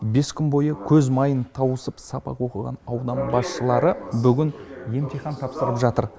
бес күн бойы көз майын тауысып сабақ оқыған аудан басшылары бүгін емтихан тапсырып жатыр